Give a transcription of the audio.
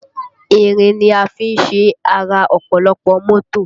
Ìrìn ni a fi ṣe ara ọ̀pọ̀lọpọ̀ àwọn mọ́tò